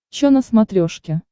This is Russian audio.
чо на смотрешке